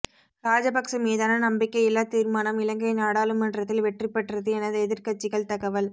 ராஜபக்ச மீதான நம்பிக்கையில்லா தீர்மானம் இலங்கை நாடாளுமன்றத்தில் வெற்றிபெற்றது என எதிர்கட்சிகள் தகவல்